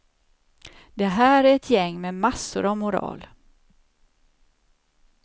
Det här är ett gäng med massor av moral.